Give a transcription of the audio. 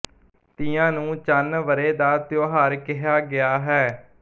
ਤੀਆਂ ਨੂੰ ਚੰਨ ਵਰ੍ਹੇ ਦਾ ਤਿਉਹਾਰ ਕਹਿਆ ਗਿਆ ਹੈ